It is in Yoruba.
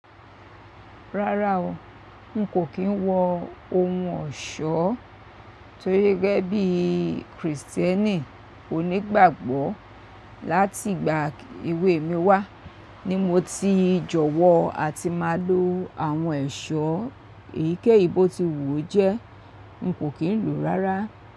Rárá o, n kò kí n wọ ohun ọ̀ṣọ́ torí gẹ́gẹ́ bí Kristẹni onígbàgbọ́ láti ìgbà èwe mi wá, ní mo ti jọ̀wọ́ a ti máa lo àwọn ẹ̀ṣọ́ èyíkéyìí bó ti wù ó jẹ́, n kò kí n lòó rárá.